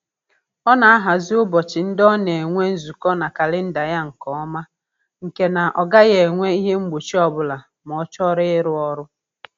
Ọ na-ahazi ụbọchị ndị ọ na-enwe nzukọ na kalịnda ya nke ọma nke na ọ gaghị enwe ihe mgbochi ọbụla ma ọ chọrọ ịrụ ọrụ